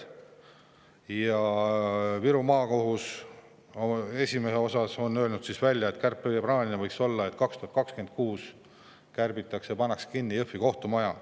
Ja Viru Maakohus on esimese hooga öelnud välja, et kärpeplaan võiks olla selline, et 2026 pannakse kinni Jõhvi kohtumaja.